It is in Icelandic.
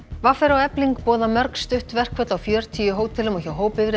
v r og Efling boða mörg stutt verkföll á fjörutíu hótelum og hjá